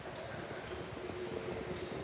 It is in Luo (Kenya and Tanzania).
kata ka ng'ato ohinyore matin.